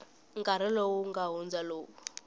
nkarhi lowu nga hundza lowu